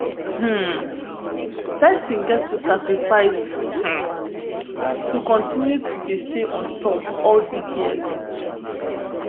um pesin get to sacrifice um to continue to dey stay on top all dis years